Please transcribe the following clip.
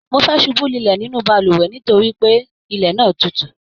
Mo fẹẹ subú lulẹ nínú balùwẹ̀ nítorí pé ilẹ náà tútù